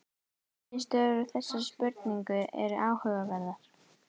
Niðurstöður úr þessari spurningu eru áhugaverðar